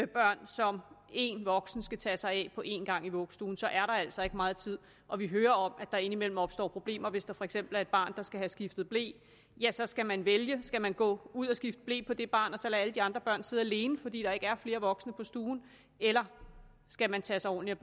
børn som en voksen skal tage sig af på en gang i vuggestuen så er der altså ikke meget tid og vi hører om at der indimellem opstår problemer hvis der for eksempel er et barn der skal have skiftet ble ja så skal man vælge skal man gå ud og skifte ble på det barn og så lade alle de andre børn sidde alene fordi der ikke er flere voksne på stuen eller skal man tage sig ordentligt